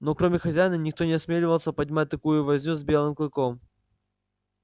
но кроме хозяина никто не осмеливался поднимать такую возню с белым клыком